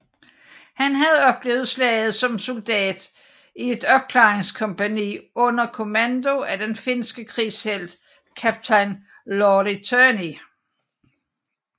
Han havde oplevet slaget som soldat i et opklaringskompagni under kommando af den finske krigshelt kaptajn Lauri Törni